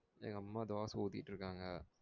எங்க அம்மா தோசை உத்திகிட்டு இருக்காங்க.